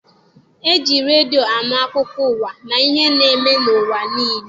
E ji redio anụ akụkọ ụwa na ihe na-eme n'ụwa niile.